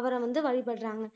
அவரை வந்து வழிபடுறாங்க